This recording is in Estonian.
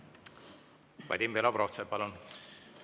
Vadim Belobrovtsev, palun!